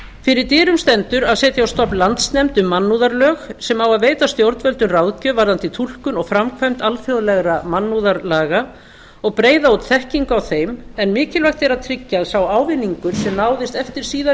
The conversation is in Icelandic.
fyrir dyrum stendur að setja á stofn landsnefnd um mannúðarlög sem á að veita stjórnvöldum ráðgjöf varðandi túlkun og framkvæmd alþjóðlegra mannúðarlaga og breiða út þekkingu á þeim en mikilvægt er að tryggja að sá ávinningur sem náðist eftir síðari